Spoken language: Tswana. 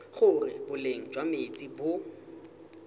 gore boleng jwa metsi bo